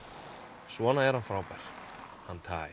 svona er hann frábær hann Ty